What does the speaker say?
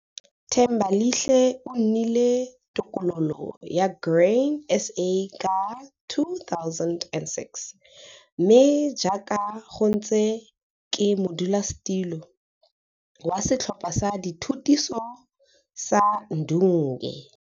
Thembalihle o nnile tokololo ya Grain SA ka 2006 mme jaaka go ntse ke modulasetilo wa Setlhopha sa Dithutiso sa Ndunge.